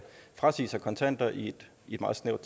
frasige sig i kontanter i et meget snævert